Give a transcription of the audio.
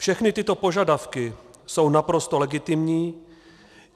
Všechny tyto požadavky jsou naprosto legitimní.